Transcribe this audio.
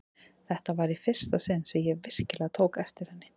Þetta var í fyrsta sinn sem ég virkilega tók eftir henni.